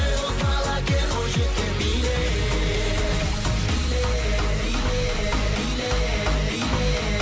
ей боз бала кел бойжеткен биле биле биле биле биле